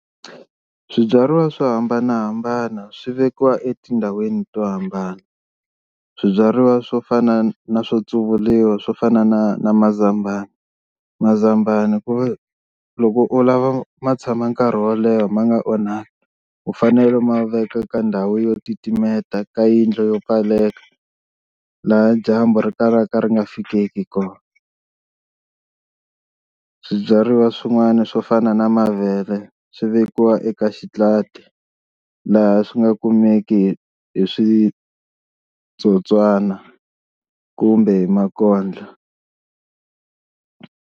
Swibyariwa swo hambanahambana swi vekiwa etindhawini to hambana, swibyariwa swo fana na swo tsuvuriwa swo fana na na mazambani mazambani ku ve loko u lava ma tshama nkarhi wo leha ma nga onhaki u fanele u ma veka ka ndhawu yo titimeta ka yindlu yo pfaleka, laha dyambu ri kalaka ri nga fikeki kona swibyariwa swin'wana swo fana na mavele swi vekiwa eka xitlati laha swi nga kumeki hi switsotswana kumbe hi makondlo.